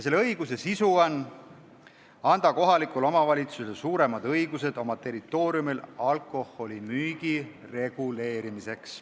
Selle õiguse sisu on anda kohalikule omavalitsusele suuremad õigused oma territooriumil alkoholimüügi reguleerimiseks.